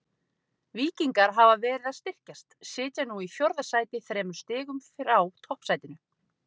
Víkingar hafa verið að styrkjast, sitja nú í fjórða sæti þremur stigum frá toppsætinu.